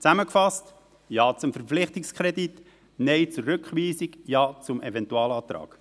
Zusammengefasst: Ja zum Verpflichtungskredit, Nein zur Rückweisung, Ja zum Eventualantrag.